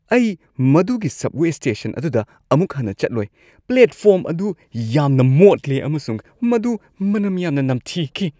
ꯑꯩ ꯃꯗꯨꯒꯤ subway station ꯑꯗꯨꯗ ꯑꯃꯨꯛ ꯍꯟꯅ ꯆꯠꯂꯣꯏ꯫ ꯄ꯭ꯂꯦꯠꯐꯣꯔꯝ ꯑꯗꯨ ꯌꯥꯝꯅ ꯃꯣꯠꯂꯤ, ꯑꯃꯁꯨꯡ ꯃꯗꯨ ꯃꯅꯝ ꯌꯥꯝꯅ ꯅꯝꯊꯤꯈꯤ꯫